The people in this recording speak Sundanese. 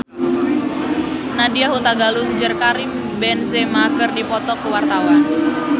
Nadya Hutagalung jeung Karim Benzema keur dipoto ku wartawan